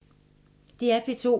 DR P2